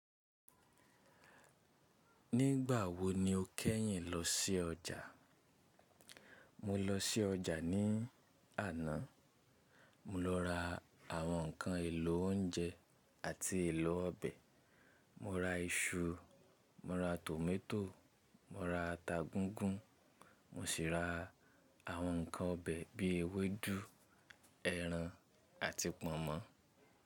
Nígbà wo ni o kẹ́yìn lọ sí ọjà? Mo lọ sí ọjà ní àná. Mo lọ ra àwọn ǹkan èlò oúnjẹ àti èlò ọbẹ̀. Mo ra iṣu, mo ra tòmátò, mo ra ata gungùn, mo sì ra àwọn ǹkan ọbẹ̀ bíi ewédú, ẹran àti pọ̀nmọ́.